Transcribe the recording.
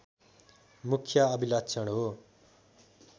मुख्य अभिलक्षण हो